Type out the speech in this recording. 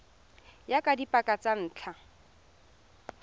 ya ka dipaka tsa ntlha